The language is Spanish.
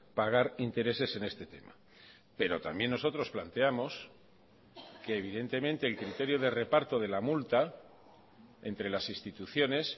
pagar intereses en este tema pero también nosotros planteamos que evidentemente el criterio de reparto de la multa entre las instituciones